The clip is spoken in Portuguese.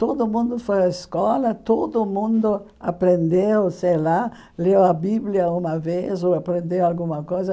Todo mundo foi à escola, todo mundo aprendeu, sei lá, leu a Bíblia uma vez ou aprendeu alguma coisa.